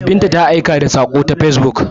Binta ta aika da sako ta facebook.